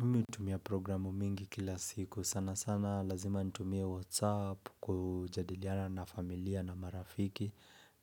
Mimi hutumia programu mingi kila siku. Sana sana lazima nitumia whatsapp kujadiliana na familia na marafiki.